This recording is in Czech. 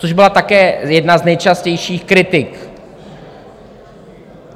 Což byla také jedna z nejčastějších kritik.